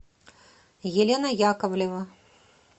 елена яковлева